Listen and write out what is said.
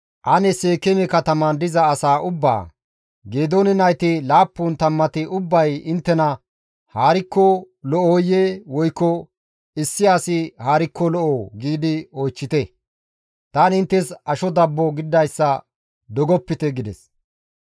«Ane Seekeeme katamaan diza asaa ubbaa, ‹Geedoone nayti laappun tammati ubbay inttena haarikko lo7oyee? Woykko issi asi haarikko lo7oo?› giidi oychchite. Tani inttes asho dabbo gididayssa dogopite» gides.